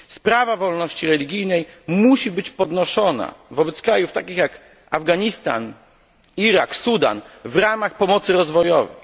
Sprawa wolności religijnej musi być podnoszona wobec krajów takich jak Afganistan, Irak, Sudan w ramach pomocy rozwojowej.